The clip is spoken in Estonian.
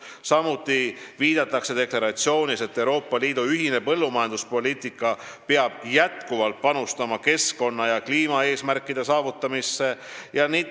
Samuti viidatakse deklaratsioonis, et Euroopa Liidu ühine põllumajanduspoliitika peab jätkuvalt panustama keskkonna- ja kliimaeesmärkide saavutamisse.